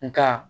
Nka